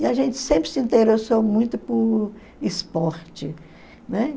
E a gente sempre se interessou muito por esporte, né?